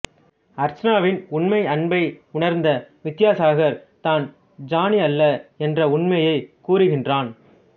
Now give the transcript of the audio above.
அர்ச்சனாவின் உண்மை அன்பை உணர்ந்த வித்தியாசாகர் தான் ஜானி அல்ல என்ற உண்மையைக் கூறுகின்றான்